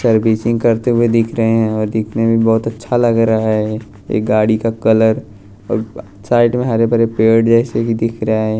Servicing करते हुए दिख रहे हैं और दिखने में बहुत अच्छा लग रहा है एक गाड़ी का कलर और ब साइड में हरे भरे पेड़ जैसे कि दिख रहे हैं।